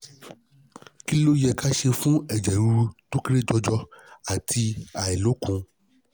kí ló yẹ ká ṣe fún eje riru to kere jojo àti ailokun?